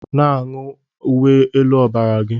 Na-aṅụ uwe elu ọbara gị!